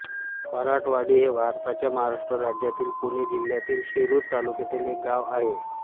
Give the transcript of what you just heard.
फराटवाडी हे भारताच्या महाराष्ट्र राज्यातील पुणे जिल्ह्यातील शिरूर तालुक्यातील एक गाव आहे